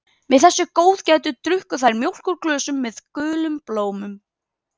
Með þessu góðgæti drukku þær mjólk úr glösum með gulum blómum.